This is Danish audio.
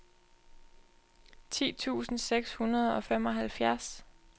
ti tusind seks hundrede og femoghalvfjerds